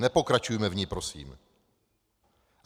Nepokračujme v ní, prosím.